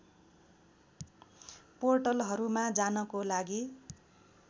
पोर्टलहरूमा जानको लागि